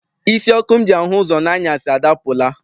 Isi ọkụ m ji ahụ ụzọ n'anyasị adapụla.